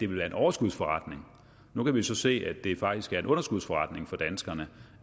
være en overskudsforretning nu kan vi så se at det faktisk er en underskudsforretning for danskerne